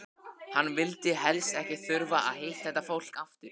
Hann vildi helst ekki þurfa að hitta þetta fólk aftur!